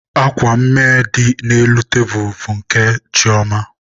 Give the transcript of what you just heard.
Akwa mme dị n'elu tebulubụ nke Chioma.